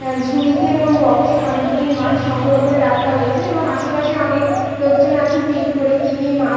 অ্যা ঝুরিতে এবং বক্স -এ অনেকগুলি মাছ সংগ্রহ করে রাখা হয়েছে এবং আশেপাশে অনেক লোকজন আছে ভিড় করে কি কি মাছ--